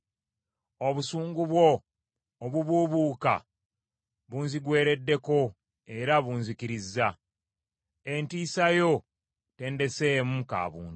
Obusungu bwo obubuubuuka bunzigwereddeko era bunzikkiriza. Entiisa yo tendeseemu ka buntu.